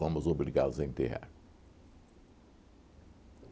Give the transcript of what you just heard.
Fomos obrigados a enterrar.